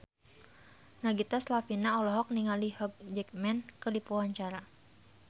Nagita Slavina olohok ningali Hugh Jackman keur diwawancara